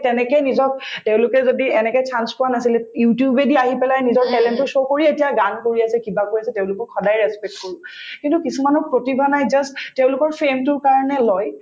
তেনেকে নিজক তেওঁলোকক যদি এনেকে chance পোৱা নাছিলে you tube য়েদি আহি পেলাই নিজৰ talent তো show কৰি এতিয়া গান উলিয়াইছে কিবা কৰিছে তেওঁলোকক সদায় respect কৰো কিন্তু কিছুমানৰ প্ৰতিভা নাই just তেওঁলোকৰ কাৰণে লয়